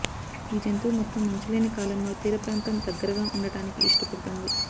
ఈ జంతువు మొత్తం మంచు లేని కాలంలో తీరప్రాంతం దగ్గరగా ఉండడానికి ఇష్టపడుతుంది